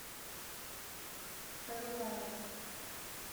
хайрулаева